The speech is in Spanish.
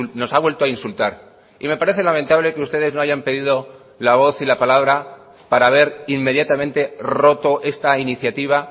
nos ha vuelto a insultar y me parece lamentable que ustedes no hayan pedido la voz y la palabra para haber inmediatamente roto esta iniciativa